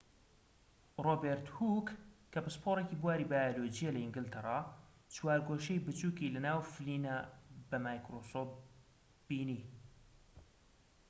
ڕۆبێرت هووک کە پسپۆڕێکی بواری بایۆلۆجییە لە ئینگلتەرا چوارگۆشەی بچووکی لە ناو فلینە بە مایکرۆسکۆب بینی